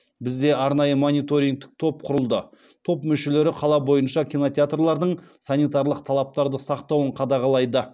бізде арнайы мониторингтік топ құрылды топ мүшелері қала бойынша кинотеатрлардың санитарлық талаптарды сақтауын қадағалайды